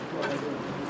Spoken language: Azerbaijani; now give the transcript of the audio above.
Bu da normaldır.